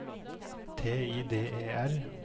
T I D E R